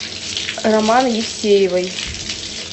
роман евсеевой